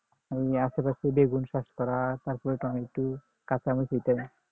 বেগুন শর্করা তারপরে টমেটো কাচামরিচ এটাই